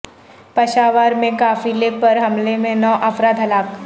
پشاور میں قافلے پر حملے میں نو افراد ہلاک